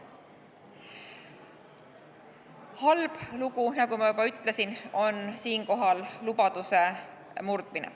Halb lugu, nagu ma juba ütlesin, on lubaduse murdmine.